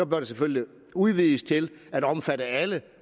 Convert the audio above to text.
det selvfølgelig udvides til at omfatte alle